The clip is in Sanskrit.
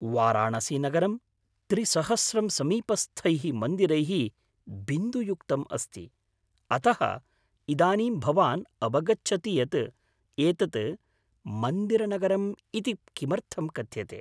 वाराणसीनगरं त्रिसहस्रं समीपस्थैः मन्दिरैः बिन्दुयुक्तम् अस्ति, अतः इदानीं भवान् अवगच्छति यत् एतत् 'मन्दिरनगरम्' इति किमर्थं कथ्यते।